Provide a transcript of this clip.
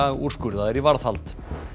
úrskurðaðir í varðhald